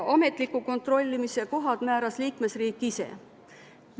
Ametliku kontrollimise kohad määras liikmesriik ise.